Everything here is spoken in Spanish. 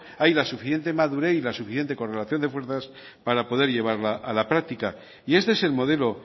hay la suficiente madurez y la suficiente correlación de fuerzas para poder llevarla a la práctica y este es el modelo